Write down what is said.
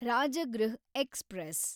Rajgriha express